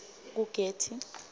kugetty